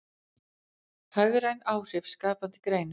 Hagræn áhrif skapandi greina